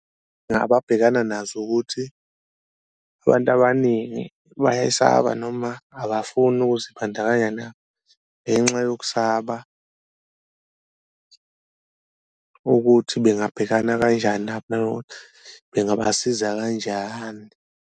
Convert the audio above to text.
Ababhekana nazo ukuthi abantu abaningi bayayisaba noma abafuni ukuzibandakanya nabo ngenxa yokusaba, ukuthi bengabhekana kanjani nabo, bengabasiza kanjani.